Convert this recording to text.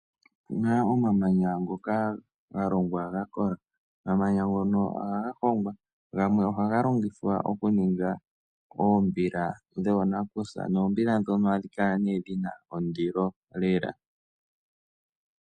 Opuna omamanya ngoka ga longwa ga kola, omamanya ngono ohaga hongwa, gamwe ohaga longithwa okuninga oombila dhoonakusa, noombila ndhono ohadhi kala nee dhina ondilo lela.